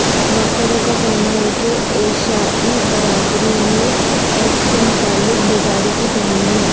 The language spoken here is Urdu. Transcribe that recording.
ڈاکٹروں کا کہنا ہے کہ ایشائی برادری میں ایڈز کے متعلق بیداری کی کمی ہے